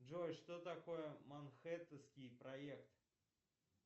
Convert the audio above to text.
джой что такое манхэттенский проект